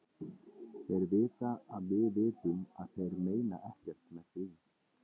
Þeir vita að við vitum að þeir meina ekkert með því.